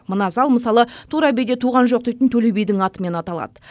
мына зал мысалы тура биде туған жоқ дейтін төле бидің атымен аталады